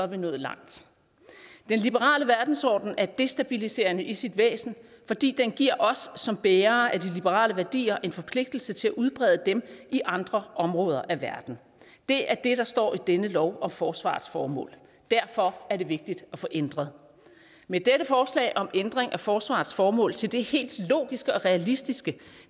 vi nået langt den liberale verdensorden er destabiliserende i sit væsen fordi den giver os som bærere af de liberale værdier en forpligtelse til at udbrede dem i andre områder af verden det er det der står i denne lov om forsvarets formål derfor er det vigtigt at få ændret med dette forslag om ændring af forsvarets formål til det helt logiske og realistiske